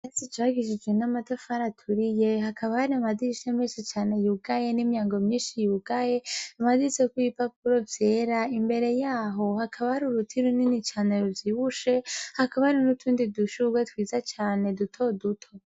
Hasi cagishijwe n'amatafari aturiye, hakaba har’amadirisha menshi cane yugaye n'imyango myinshi yugaye, amaditseko zoko ipapuro vyera imbere yaho hakaba ahari uruta irunini cane ruvyibushe hakaba hari n'utundi dushurwa twiza cane dutoduto.